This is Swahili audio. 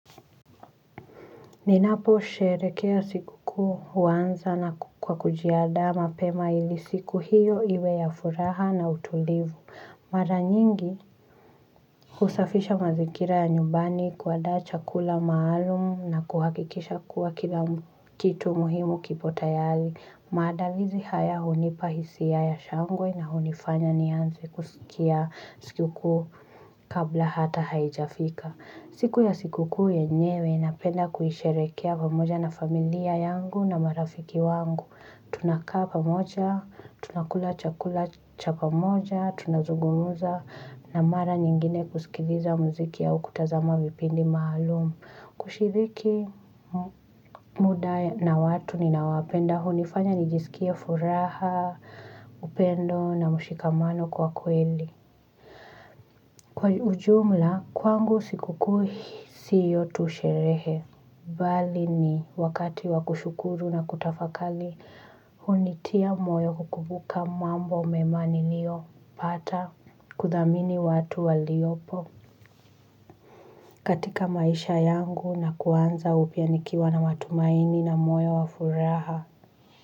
Ninaposherekea sikukuu huanza na kwa kujiandaa mapema ili siku hiyo iwe ya furaha na utulivu. Mara nyingi husafisha mazingira ya nyumbani, kuandaa chakula maalum na kuhakikisha kuwa kila kitu muhimu kiko tayari maandalizi haya hunipa hisia ya shangwe na hunifanya nianze kusikia sikukuu kabla hata haijafika. Siku ya sikukuu yenyewe napenda kuisherehekea pamoja na familia yangu na marafiki wangu. Tunakaa pamoja, tunakula chakula cha pamoja, tunazugumza na mara nyingine kusikiliza muziki au kutazama vipindi maalum. Kushiriki muda na watu ninaowapenda hunifanya nijisikie furaha, upendo na mshikamano kwa kweli. Kwa ujumla kwangu sikukuu si hiyo tu sherehe bali ni wakati wa kushukuru na kutafakari. Hunitia moyo kukumbuka mambo mema niliyopata kuthamini watu waliopo katika maisha yangu na kuanza upya nikiwa na matumaini na moyo wa furaha.